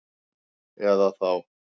Eða þá